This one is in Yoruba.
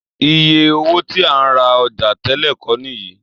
Iye owó tí a ń ra ọjà tẹ́lẹ̀ kọ́ nìyí